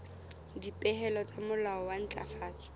dipehelo tsa molao wa ntlafatso